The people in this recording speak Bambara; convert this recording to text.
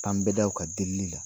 Kan bɛ da u kan delili la